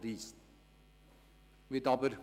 Da verstehen Sie mich hoffentlich auch.